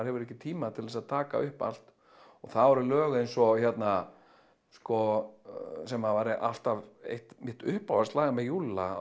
hefur ekki tíma til að taka upp allt það voru lög eins og hérna sem var alltaf eitt mitt uppáhaldslag með Júlla